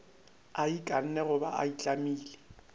a ikanne goba a itlamile